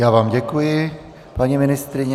Já vám děkuji, paní ministryně.